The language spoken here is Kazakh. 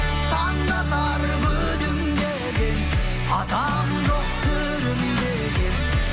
таң да атар күлімдеген адам жоқ сүрінбеген